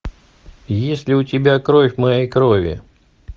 есть ли у тебя кровь моей крови